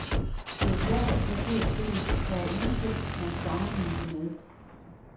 Det er svært at placere spillet, der er ingenting, man kan sammenligne det med.